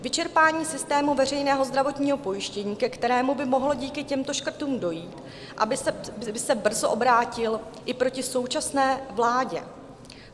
Vyčerpání systému veřejného zdravotního pojištění, ke kterému by mohlo díky těmto škrtům dojít, by se brzo obrátilo i proti současné vládě.